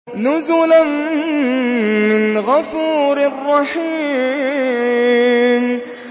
نُزُلًا مِّنْ غَفُورٍ رَّحِيمٍ